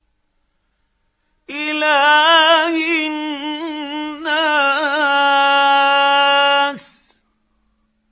إِلَٰهِ النَّاسِ